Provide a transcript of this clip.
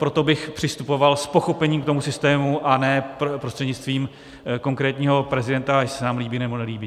Proto bych přistupoval s pochopením k tomu systému a ne prostřednictvím konkrétního prezidenta, jestli se nám líbí, nebo nelíbí.